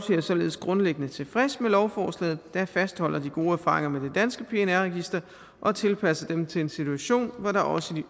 således grundlæggende tilfreds med lovforslaget der fastholder de gode erfaringer med det danske pnr register og tilpasser dem til en situation hvor der også i